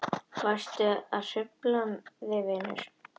Varstu að hrufla þig vinur?